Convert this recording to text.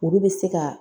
Olu bɛ se ka